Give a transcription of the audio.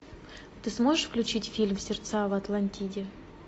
ты сможешь включить фильм сердца в атлантиде